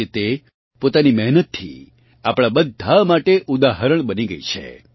આજે તે પોતાની મહેનતથી આપણાં બધાં માટે ઉદાહરણ બની ગઇ છે